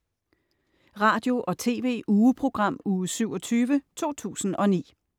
Radio- og TV-ugeprogram Uge 27, 2009